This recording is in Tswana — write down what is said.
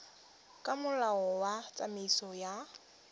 ka molao wa tsamaiso ya